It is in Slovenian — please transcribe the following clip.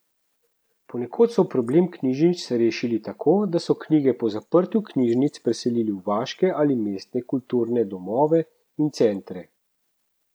Ponekod so problem knjižnic rešili tako, da so knjige po zaprtju knjižnic preselili v vaške ali mestne kulturne domove in centre.